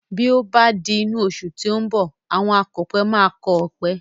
Bí ó bá di inú oṣù tí ó ń bọ̀, àwọn akọ̀pẹ máa kọ́ ọpẹ